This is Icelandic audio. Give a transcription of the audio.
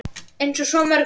Eins og svo mörgu.